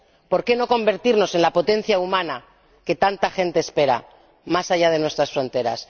¿Por qué no convertirnos en la potencia humana que tanta gente espera, más allá de nuestras fronteras?